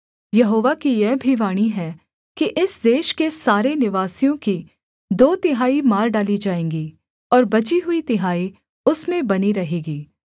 यहोवा की यह भी वाणी है कि इस देश के सारे निवासियों की दो तिहाई मार डाली जाएँगी और बची हुई तिहाई उसमें बनी रहेगी